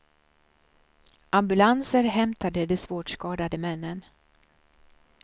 Ambulanser hämtade de svårt skadade männen.